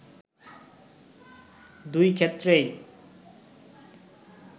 দুই ক্ষেত্রেই